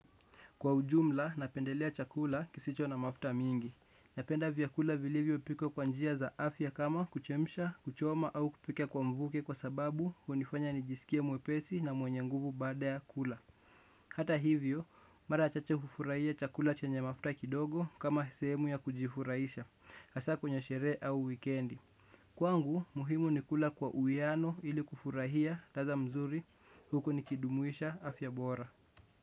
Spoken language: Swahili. Kwa ujumla, napendelea chakula kisicho na mafuta mingi. Napenda vyakula vilivyopikwa kwa njia za afya kama kuchemsha, kuchoma au kupika kwa mvuke kwa sababu hunifanya nijisikie mwepesi na mwenye nguvu baada ya kula. Hata hivyo, mara chache hufurahia chakula chenye mafuta kidogo kama sehemu ya kujifurahisha, hasa kwenye sherehe au wikendi. Kwangu, muhimu ni kula kwa uiano ili kufurahia, ladha mzuri, huku nikidumuisha afya bora.